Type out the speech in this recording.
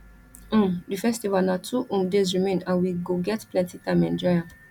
um di festival na two um days remain and we go get plenty time enjoy am